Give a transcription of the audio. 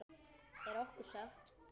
Er okkur sagt.